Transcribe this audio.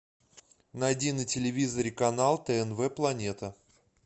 найди на телевизоре канал тнв планета